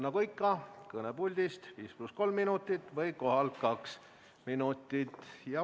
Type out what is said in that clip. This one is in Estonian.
Nagu ikka, kõne puldist 5 + 3 minutit või kohalt 2 minutit.